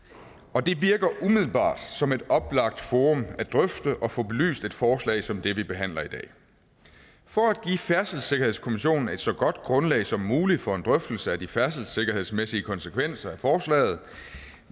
og det virker umiddelbart som et oplagt forum at drøfte og få belyst et forslag som det vi behandler i dag for at give færdselssikkerhedskommissionen et så godt grundlag som muligt for en drøftelse af de færdselssikkerhedsmæssige konsekvenser af forslaget